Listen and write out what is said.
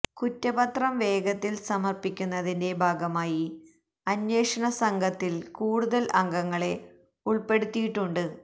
കുറ്റപത്രം വേഗത്തില് സമര്പ്പിക്കുന്നതിന്റെ ഭാഗമായി അന്വേഷണ സംഘത്തില് കൂടുതല് അംഗങ്ങളെ ഉള്പ്പെടുത്തിയിട്ടുണ്ട്